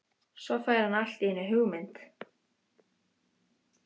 Svo fær hann allt í einu hugmynd.